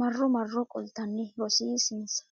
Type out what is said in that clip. marro marro qoltanni rosiisinsa.